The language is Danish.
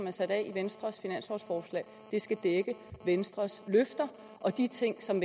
er sat af i venstres finanslovforslag skal dække venstres løfter og de ting som